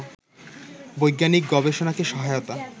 বৈজ্ঞানিক গবেষণাকে সহায়তা